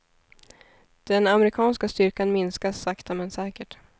Den amerikanska styrkan minskas sakta men säkert.